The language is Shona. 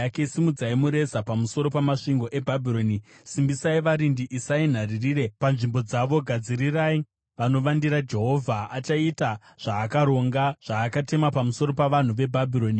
Simudzai mureza pamusoro pamasvingo eBhabhironi! Simbisai varindi, isai nharirire panzvimbo dzavo, gadzirirai vanovandira. Jehovha achaita zvaakaronga, zvaakatema pamusoro pavanhu veBhabhironi.